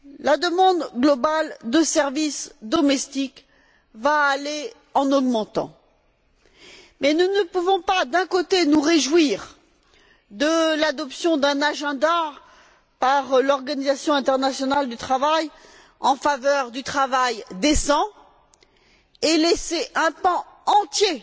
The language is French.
La demande globale de services domestiques va aller en augmentant mais nous ne pouvons pas, d'un côté, nous réjouir de l'adoption d'un agenda par l'Organisation internationale du travail en faveur du travail décent et, de l'autre, laisser un pan entier